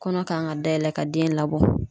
Kɔnɔ kan ka dayɛlɛ ka den labɔ.